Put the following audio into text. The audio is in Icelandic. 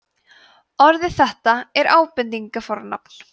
orðið þetta er ábendingarfornafn